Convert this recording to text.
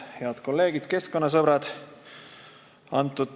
Head kolleegid keskkonnasõbrad!